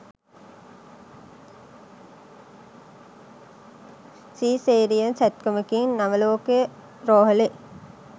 caesarean සැත්කමකින් නවලෝක රෝහලේ